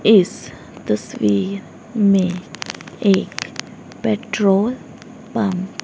इस तस्वीर में एक पेट्रोल पंप --